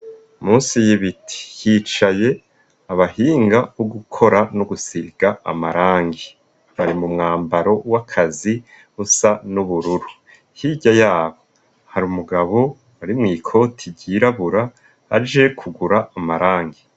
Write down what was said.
Musi y'ibiti hicaye abahinga bo gukora no gusiga amarangi, bari mu mwambaro w'akazi usa n'ubururu, hirya yabo hari umugabo ari mw'ikoti ryirabura aje kugura amarangi.